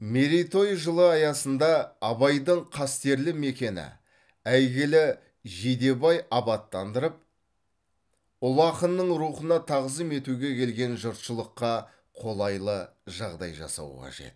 мерейтой жылы аясында абайдың қастерлі мекені әйгілі жидебай абаттандырып ұлы ақынның рухына тағзым етуге келетін жұртшылыққа қолайлы жағдай жасау қажет